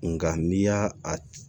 Nga n'i y'a a